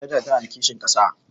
Eh Hajara ta na da kishin ƙasa